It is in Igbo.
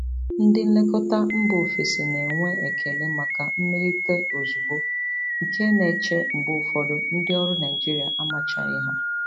Ndị nlekọta mba ofesi na-enwe ekele maka mmelite ozugbo, nke na-eche mgbe ụfọdụ ndị ọrụ Naijiria amachaghị ha.